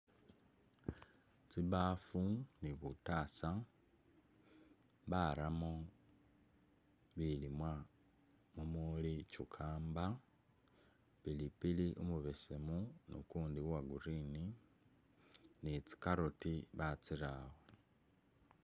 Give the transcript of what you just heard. Tsibafu ni butasa baramu bilimwa mumuli cucumber ,pilipili umubesemu ni ukundi uwa green ni tsi carrot batsirawo.